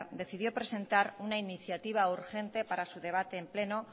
decidió presentar una iniciativa urgente para su debate en pleno